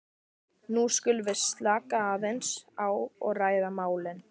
nú skulum við slaka aðeins á og ræða málin.